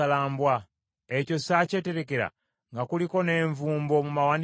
Ekyo saakyeterekera, nga kuliko n’envumbo mu mawanika gange?